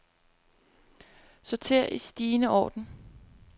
Sorter i stigende orden.